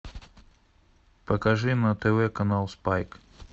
покажи на тв канал спайк